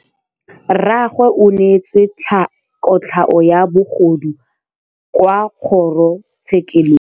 Rragwe o neetswe kotlhaô ya bogodu kwa kgoro tshêkêlông.